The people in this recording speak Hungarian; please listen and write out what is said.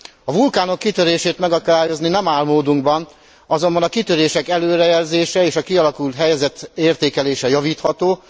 A vulkánok kitörését megakadályozni nem áll módunkban, azonban a kitörések előrejelzése és a kialakult helyzet értékelése javítható.